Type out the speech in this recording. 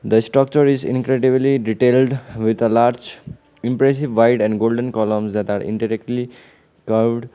the structure is incredibly detailed with a large impressive wide and golden colour that are indirectly cloud.